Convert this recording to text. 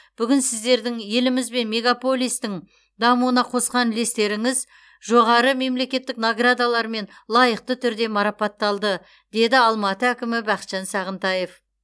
бүгін сіздердің еліміз бен мегаполистің дамуына қосқан үлестеріңіз жоғары мемлекеттік наградалармен лайықты түрде марапатталды деді алматы әкімі бақытжан сағынтаев